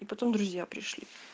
и потом друзья пришли